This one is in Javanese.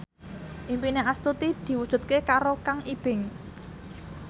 impine Astuti diwujudke karo Kang Ibing